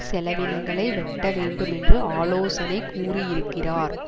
செலவினங்களை வெட்டவேண்டுமென்று ஆலோசனை கூறியிருக்கிறார்